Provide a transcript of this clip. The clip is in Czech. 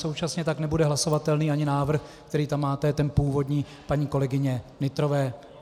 Současně tak nebude hlasovatelný ani návrh, který tam máte ten původní, paní kolegyně Nytrové.